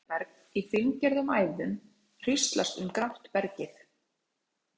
Silfurberg í fíngerðum æðum hríslast um grátt bergið.